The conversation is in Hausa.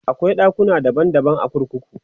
akwai ɗakuna daban daban a kurkuku